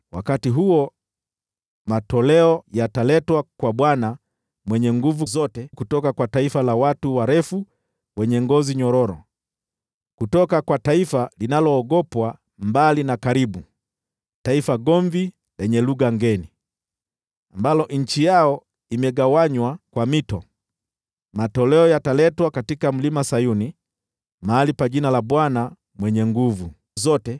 Wakati huo matoleo yataletwa kwa Bwana Mwenye Nguvu Zote kutoka kwa taifa la watu warefu wenye ngozi nyororo, kutoka kwa taifa linaloogopwa mbali na karibu, kutoka taifa gomvi lenye lugha ngeni, ambalo nchi yao imegawanywa kwa mito, matoleo yataletwa katika Mlima Sayuni, mahali pa Jina la Bwana Mwenye Nguvu Zote.